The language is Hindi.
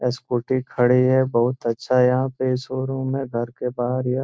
स्कूटी खड़ी है बहुत अच्छा यहां पे शोरूम है घर के बाहर यह --